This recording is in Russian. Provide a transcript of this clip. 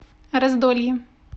раздолье